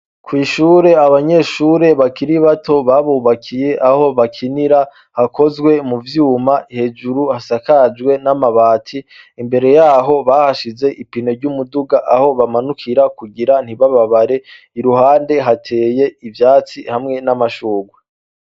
Kw'ishure abanyeshure bakiri bato babubakiye aho bakinira hakozwe mu vyuma hejuru hasakajwe n'amabati imbere, yaho bahashize ipine ry'umuduga aho bamanukira kugira ntibababare, iruhande hateye ivyatsi hamwe n'amashurwe.